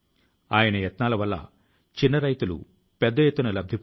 అలాంటి ఒక జీవనం group captain Shri Varun Singh the